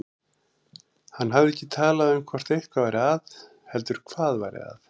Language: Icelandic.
Hann hafði ekki talað um hvort eitthvað væri að heldur hvað væri að.